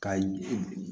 Kayi